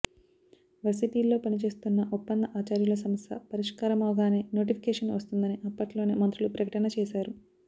వర్సిటీల్లో పని చేస్తున్న ఒప్పంద ఆచార్యుల సమస్య పరిష్కారమవగానే నోటిఫికేషన్ వస్తుందని అప్పట్లోనే మంత్రులు ప్రకటన చేశారు